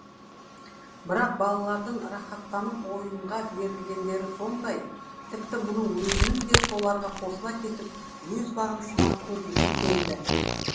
бірақ балалардың рақаттанып ойынға берілгендері сондай тіпті мұның өзінің де соларға қосыла кетіп өз бағын сынап көргісі келді